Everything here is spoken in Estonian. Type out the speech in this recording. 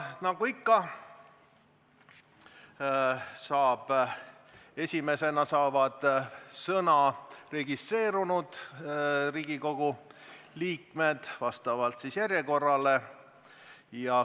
Nagu ikka, esimesena saavad sõna registreerunud Riigikogu liikmed vastavalt järjekorrale.